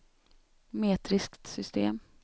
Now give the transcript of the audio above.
metriskt system